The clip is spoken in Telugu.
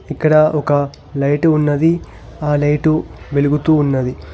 ఇక్కడ ఒక లైటు ఉన్నది ఆ లైటు వెలుగుతూ ఉన్నది.